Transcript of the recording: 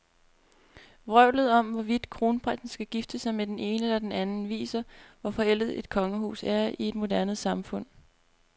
Vrøvlet om, hvorvidt kronprinsen kan gifte sig med den ene eller den anden, viser, hvor forældet et kongehus er i et moderne samfund.